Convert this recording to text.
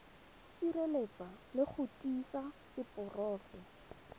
sireletsa le go tiisa seporofe